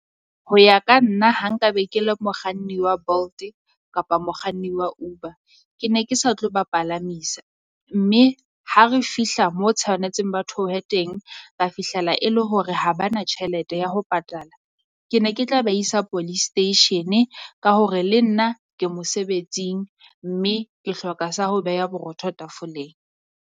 Ho ya ka nna ha nka be ke le mokganni wa Bolt-e kapa mokganni wa Uber, ke ne ke sa tlo ba palamisa. Mme ha re fihla mo tshaonetseng ba theohe teng, ba fihlella e le hore ha ba na tjhelete ya ho patala. Ke ne ke tla be isa police station-e ka hore le nna ke mosebetsing mme ke hloka sa ho beha borotho tafoleng.